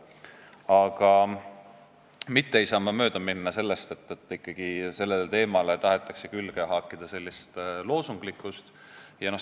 Aga ma ei saa mööda minna sellest, et sellele teemale tahetakse ikkagi külge haakida loosunglikkust.